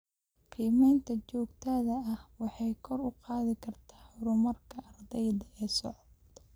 Qiimaynta joogtada ah waxay kor u qaadi kartaa horumarka ardayga ee socda.